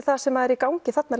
það sem er í gangi þarna